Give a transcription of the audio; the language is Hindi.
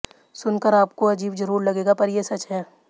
सुनकर आपको अजीब जरूर लगेगा पर ये सच है